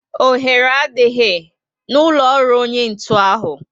Oghere adịghị n'ụlọ ọrụ onye ọkụ ntụ ahụ